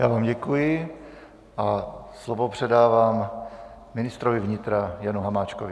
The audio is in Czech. Já vám děkuji a slovo předávám ministrovi vnitra Janu Hamáčkovi.